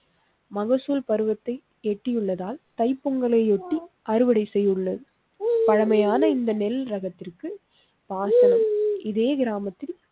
மகசூல் பருவத்தை எட்டியுள்ளதால் தைப் பொங்கலை யொட்டி அறுவடை செய்ய உள்ளது. பழமையான இந்த நெல் ரகத்திற்கு பாக்கவும் இதே கிராமத்தில்